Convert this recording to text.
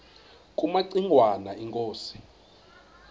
kumaci ngwana inkosi